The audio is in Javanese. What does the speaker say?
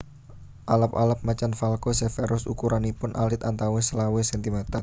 Alap alap Macan Falco severus ukuranipun alit antawis selawe sentimeter